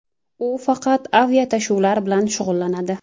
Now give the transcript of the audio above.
U faqat aviatashuvlar bilan shug‘ullanadi.